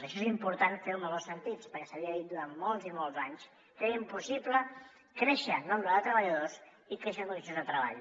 això és important fer ho en els dos sentits perquè s’havia dit durant molts i molts anys que era impossible créixer en nombre de treballadors i créixer en condicions de treball